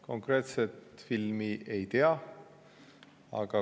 Konkreetset filmi ma ei tea.